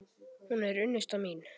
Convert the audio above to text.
Hún er unnusta mín!